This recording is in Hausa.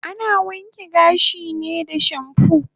Ana wanke gashi ne da shampoo